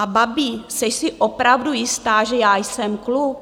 A babi, jseš si opravdu jistá, že já jsem kluk?